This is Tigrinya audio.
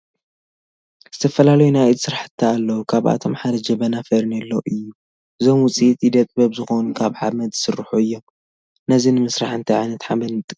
ዝተፈላለዩ ናይ ኢድ ስራሕት አለው ካብአቶም ሓደ ጀበና፣ ፈርኖሎ አዩ ። እዞም ውፅኢት ኢደ ጥበብ ዝኮኑ ካብ ሓመድ ዝስርሑ አዬም ።ነዚ ንምስራሕ እንታይ ዓይነት ሓመድ ንጥቀም ?